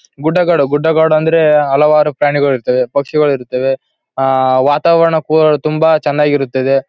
ಗುಡ್ಡಗಾಡು ಗುಡ್ಡಗಾಡು ಅಂದರೆ ಹಲವಾರು ಪ್ರಾಣಿಗಳು ಇರ್ತವೇ ಪಕ್ಷಿಗಳು ಇರ್ತವೆ ಆ ವಾತಾವರಣ ಪೂರ ತುಂಬಾ ಚೆನ್ನಾಗಿರುತ್ತದೆ.